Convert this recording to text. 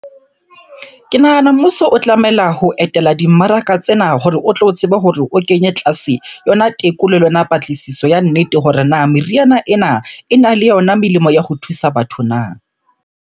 Ke nahana mmuso o tlamela ho etela dimmaraka tsena hore o tlo tsebe hore o kenye tlase yona tekolo le yona patlisiso ya nnete hore na meriana ena, e na le yona melemo ya ho thusa batho na?